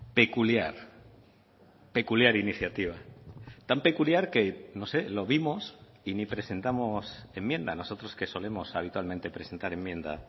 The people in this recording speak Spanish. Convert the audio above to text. peculiar peculiar iniciativa tan peculiar que no sé lo vimos y ni presentamos enmienda nosotros que solemos habitualmente presentar enmienda